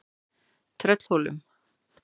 Tröllhólum